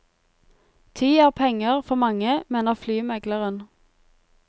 Tid er penger for mange, mener flymegleren.